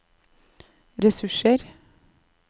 ressurser